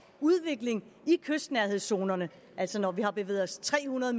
udvikling i kystnærhedszonerne altså når vi har bevæget os tre hundrede